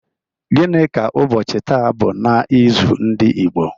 Gini ka ụbọchị taa bụ n' ịzụ ndị Igbo?